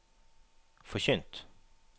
forkynt